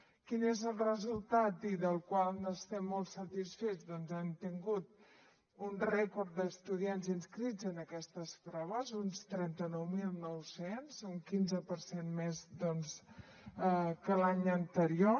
quin és el resultat i del qual n’estem molt satisfets doncs hem tingut un rècord d’estudiants inscrits en aquestes proves uns trenta nou mil nou cents un quinze per cent més que l’any anterior